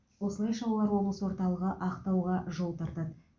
осылайша олар облыс орталығы ақтауға жол тартады